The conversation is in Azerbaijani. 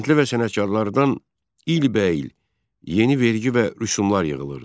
Kəndlilər və sənətkarlardan ilbəil yeni vergi və rüsumlar yığılırdı.